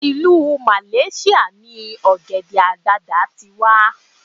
ilu malasia ni ògèdè àgbagbà ti wà